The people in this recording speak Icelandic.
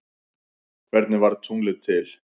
Hvernig varð tunglið til?